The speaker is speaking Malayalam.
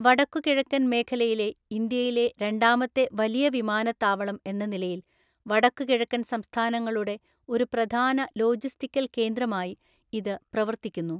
വടക്കുകിഴക്കൻ മേഖലയിലെ ഇന്ത്യയിലെ രണ്ടാമത്തെ വലിയ വിമാനത്താവളം എന്ന നിലയിൽ, വടക്കുകിഴക്കൻ സംസ്ഥാനങ്ങളുടെ ഒരു പ്രധാന ലോജിസ്റ്റിക്കൽ കേന്ദ്രമായി ഇത് പ്രവർത്തിക്കുന്നു.